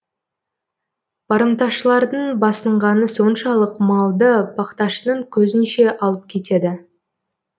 барымташылардың басынғаны соншалық малды бақташының көзінше алып кетеді